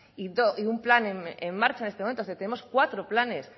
y un plan en marcha en estos momentos es decir tenemos cuatro planes